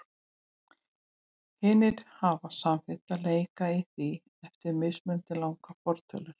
Hinir hafa samþykkt að leika í því eftir mismunandi langar fortölur.